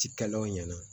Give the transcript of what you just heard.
Cikɛlaw ɲɛna